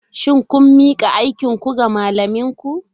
Shin kun mika aikinku ga malaminku?